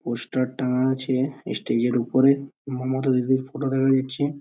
poster টাঙ্গা আছে স্টেজের ওপরে | মোমো তৈরির করার ফটো দেখা যাচ্ছে |